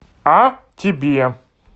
а тебе